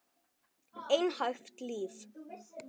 Einhæft líf.